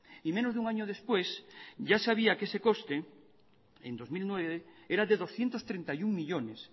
y menos de un año después ya sabía que ese coste en dos mil nueve era de doscientos treinta y uno millónes